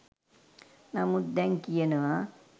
නමුත් දැන් කියනවා